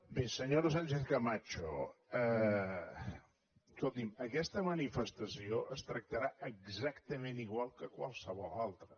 bé senyora sánchez camacho escolti’m aquesta manifestació es tractarà exactament igual que qualsevol altra